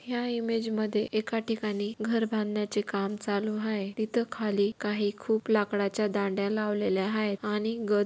ह्या इमेज मध्ये एका ठिकाणी घर बाधण्याचे काम चालू आहे तिथं खाली काही खूप लाकडाच्या दांड्या लावलेल्या आहे आणि गज--